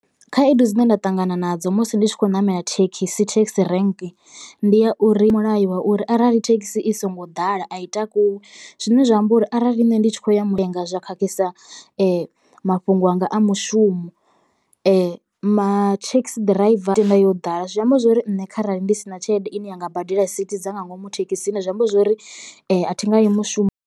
Khaedu dzine nda ṱangana nadzo musi ndi tshi khou ṋamela thekhisi thekhisi rank ndi ya uri mulayo wa uri arali thekhisi i songo ḓala a i takuwi zwine zwa amba uri arali nṋe ndi tshi khou ya mulinga zwa khakhisa mafhungo anga a mushumo. Mathekhisi ḓiraiva tenda yo ḓala zwi amba zwori nṋe kharali ndi si na tshelede ine yanga badela sithi dza nga ngomu thekhisini zwi amba zwori a thi nga i mushumo.